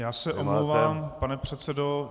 Já se omlouvám, pane předsedo.